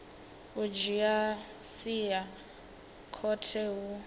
u dzhia sia khothe hu